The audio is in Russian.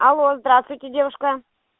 алло здравствуйте девушка